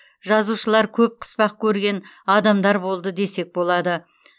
жазушылар көп қыспақ көрген адамдар болды десек болады